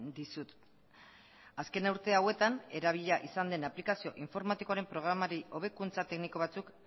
dizut azken urte hauetan erabilia izan den aplikazio informatikoaren programari hobekuntza tekniko batzuk